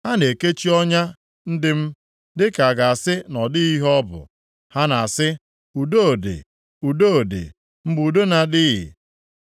Ha na-ekechi ọnya ndị m dịka a ga-asị na ọ dịghị ihe ọ bụ. Ha na-asị, “Udo dị, udo dị,” mgbe udo na-adịghị.